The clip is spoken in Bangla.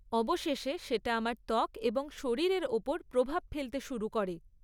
অবশেষে সেটা আমার ত্বক এবং শরীরের ওপর প্রভাব ফেলতে শুরু করে।